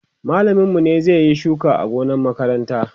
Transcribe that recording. mallamin mu ne zai Yi shuka a gonan makaranta